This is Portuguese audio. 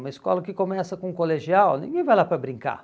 Uma escola que começa com um colegial, ninguém vai lá para brincar.